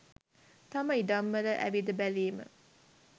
තම ඉඩම්වල ඇවිද බැලීම